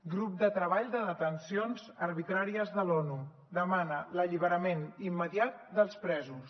grup de treball de detencions arbitràries de l’onu demana l’alliberament immediat dels presos